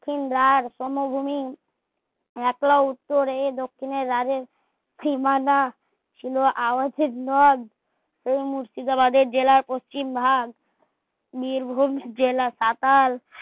দক্ষিণ রার তৃণভূমি একলা উত্তর দক্ষিণ এ রার এর সীমানা ছিল আরো সিঁদ নদ সেই মুর্শিদাবাদের জেলা পশ্চিম ভাগ বীরভূম জেলা সাকাল